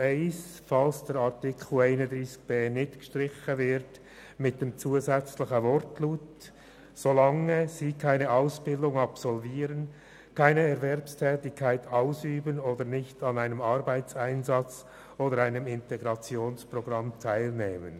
Für den Fall, dass Artikel 31b nicht gestrichen wird, präzisiert die GSoK-Minderheit I den Absatz 1 mit dem Zusatz «solange sie keine Ausbildung absolvieren, keine Erwerbstätigkeit ausüben oder nicht an einem Arbeitseinsatz oder einem Integrationsprogramm teilnehmen».